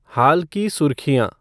हाल की सुर्खियाँ